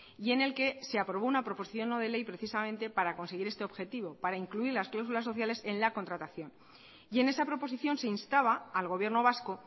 y en el que se aprobó una proposición no de ley precisamente para conseguir este objetivo para incluir las cláusulas sociales en la contratación y en esa proposición se instaba al gobierno vasco